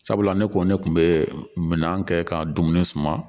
Sabula ne ko ne kun be minɛn kɛ ka dumuni suma